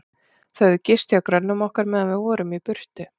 Þau höfðu gist hjá grönnum okkar, meðan við vorum í burtu.